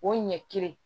O ɲɛ kelen